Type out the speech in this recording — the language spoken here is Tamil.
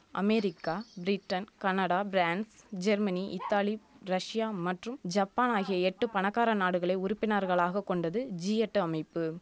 America Britain Canada France Germany Italy Russia மற்றும் ஜப்பான் ஆகிய எட்டு பணக்கார நாடுகளை உறுப்பினர்களாக கொண்டது ஜி எட்டு அமைப்பு